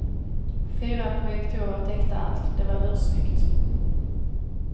Fyra projektorer täckte allt, det var ursnyggt.